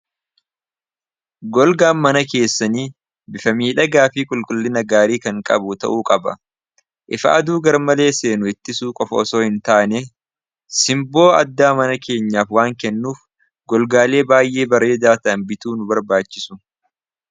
Golgaan mana keessanii bifamiidhagaafii qulqullina gaarii kan qabu ta'uu qaba. Ifaa aduu garmalee seenu ittisu qof osoo hin taane simboo addaa mana keenyaaf waan kennuuf golgaalee baay'ee baree daata bituu nu barbaachisu.